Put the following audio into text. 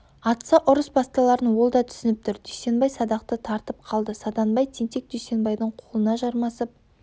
атса ұрыс басталарын ол да түсініп тұр дүйсенбай садақты тартып қалды саданбай тентек дүйсенбайдың қолына жармасып